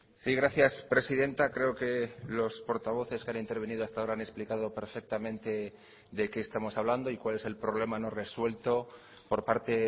sí gracias presidenta creo que los portavoces que han intervenido hasta ahora han explicado perfectamente de qué estamos hablando y cuál es el problema no resuelto por parte